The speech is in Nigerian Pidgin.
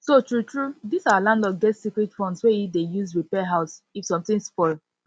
so true true this our landlord get secret funds wey he dey use repair house if something spoil